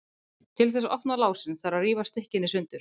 Til þess að opna lásinn þarf að rífa stykkin í sundur.